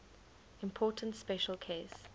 important special case